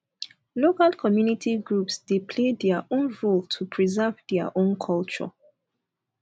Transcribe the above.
local community groups de play their own role to preserve their own culture